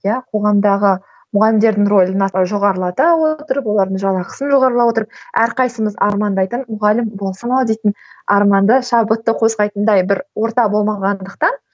иә қоғамдағы мұғалімдердің рөлін жоғарылата отырып олардың жалақысын отырып әрқайсымыз армандайтын мұғалім болсам ау дейтін арманды шабытты қозғайтындай бір орта болмағандықтан